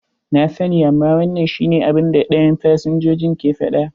Na sani, amma wannan shi ne abun da dayan fsinjojin ke faɗa.